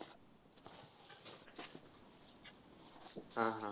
हा, हा.